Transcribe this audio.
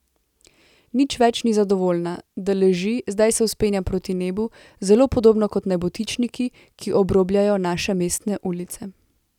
Nič več ni zadovoljna, da leži, zdaj se vzpenja proti nebu, zelo podobno kot nebotičniki, ki obrobljajo naše mestne ulice.